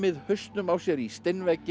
hausnum á sér í